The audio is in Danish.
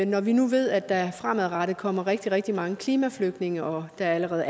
når vi nu ved at der fremadrettet kommer rigtig rigtig mange klimaflygtninge og der er allerede